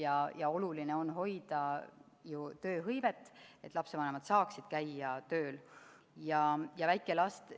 Aga oluline on hoida ju tööhõivet, tagada, et lapsevanemad saaksid tööl käia.